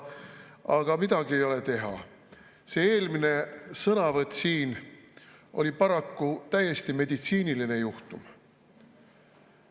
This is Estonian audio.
Aga midagi ei ole teha, see eelmine sõnavõtt siin oli paraku täiesti meditsiiniline juhtum.